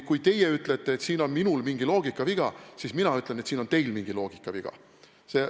Kui teie ütlete, et minul on mingi loogikaviga, siis mina ütlen, et teil on mingi loogikaviga.